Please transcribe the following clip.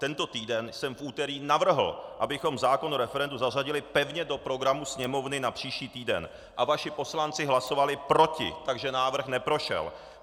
Tento týden jsem v úterý navrhl, abychom zákon o referendu zařadili pevně do programu Sněmovny na příští týden, a vaši poslanci hlasovali proti, takže návrh neprošel.